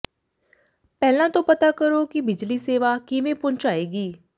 ਪਹਿਲਾਂ ਤੋਂ ਪਤਾ ਕਰੋ ਕਿ ਬਿਜਲੀ ਸੇਵਾ ਕਿਵੇਂ ਪਹੁੰਚਾਏਗੀ